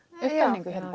upptalningu hérna